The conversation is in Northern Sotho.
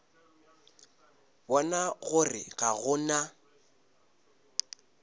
bona gore ga go na